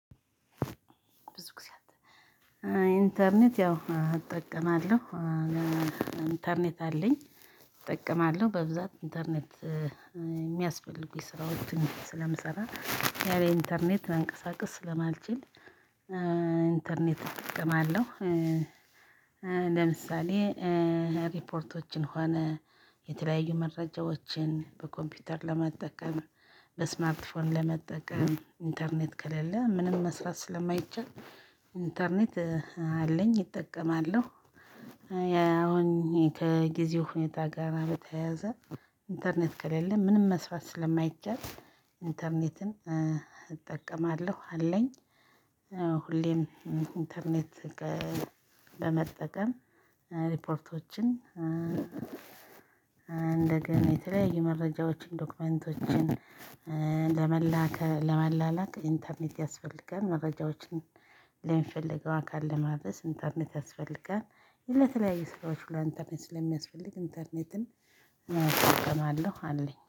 ብዙ ጊዜ ኢንተርኔት ያው እጠቀማለሁ። ኢንተርኔት አለኝ። እጠቀማለሁ በብዛት ኢንተርኔት የሚያስፈልጉኝ ስራዎችን ስለምሰራ ያለ ኢንተርኔት መንቀሳቀስ ስለማልችል ኢንተርኔት እጠቀማለሁ። ለምሳሌ ሪፖርቶችን ሆነ የተለያዩ መረጃዎችን በኮምፒውተር ለመጠቀም በስማርትፎን ለመጠቀም ኢንተርኔት ከሌለ ምንም መስራት ስለማይቻል ኢንተርኔት አለኝ እጠቀማለሁ። አሁን ከጊዜው ሁኔታ ጋር በተያያዘ ኢንተርኔት ከሌለ ምንም መስራት ስለማይቻል ኢንተርኔትን እጠቀማለሁ አለኝ። ሁሌም ኢንተርኔት በመጠቀም ሪፖርቶችን እንደገና የተለያዩ መረጃዎችን ዶክመንቶችን ለመላከ ለመላላክ ኢንተርኔት ያስፈልጋል። መረጃዎችን ለሚፈልገው አካል ለማድረስ ኢንተርኔት ያስፈልጋል። ለተለያዩ ስራዎች ኢንተርኔት ስለሚያስፈልግ ኢንተርኔትን እጠቀማለሁ አለኝ